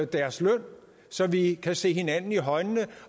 deres løn så vi kan se hinanden i øjnene